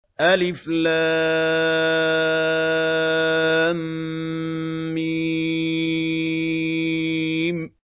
الم